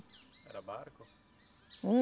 Era barco? Hum